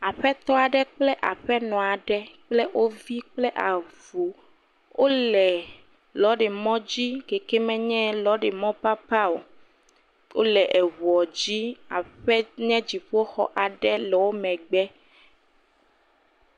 Aƒetɔ aɖe kple aƒenɔ aɖe kple wo vi kple avu, wole lɔ̃rimɔdzi keke menye lɔ̃rimɔ papao, wole eŋuɔ dzi, aƒe nye dziƒoxɔ aɖe le wo megbe.